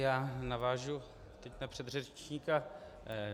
Já navážu na svého předřečníka.